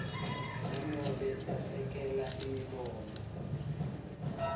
nanobe esekela imibono